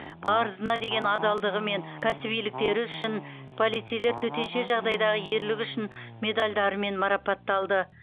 парызына деген адалдығы мен кәсібиліктері үшін полицейлер төтенше жағдайдағы ерлігі үшін медальдарымен марапатталды